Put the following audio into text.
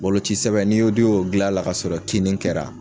Boloci sɛbɛn n'i y'o n'i y'o dil'a la kasɔrɔ kinni kɛra